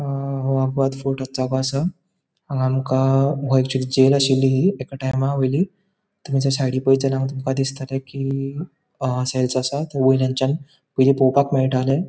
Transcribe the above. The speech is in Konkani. अ जागो असा हांगा आमका एक टाइमा वॉइली तै मुजय साइडिक पोयत झाल्यार हांगा तुमका दिस्तले कि असा तै वॉइलयांचा बोरे पॉवपाक मेळटाले.